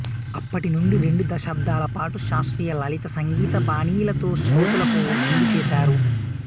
అప్పటినుండి రెండు దశాబ్దాల పాటు శాస్త్రీయ లలిత సంగీత బాణీలతో శ్రోతలకు విందు చేశారు